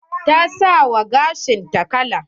Ta sa wa gashin ta kala.